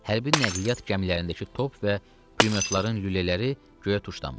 Hərbi nəqliyyat gəmilərindəki top və pulyotların lülələri göyə tuşlanmışdı.